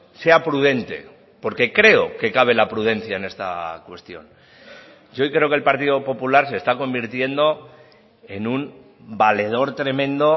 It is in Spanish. sea prudente porque creo que cabe la prudencia en esta cuestión hoy creo que el partido popular se está convirtiendo en un valedor tremendo